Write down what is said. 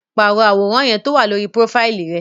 Paro aworan yẹn towa lori profaili rẹ!